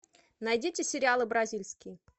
найдите сериалы бразильские